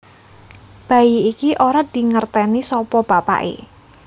Bayi iki ora dingerteni sapa bapaké